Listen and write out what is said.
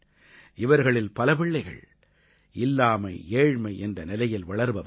இவர்களில் பல பிள்ளைகள் இல்லாமைஏழ்மை என்ற நிலையில் வளர்பவர்கள்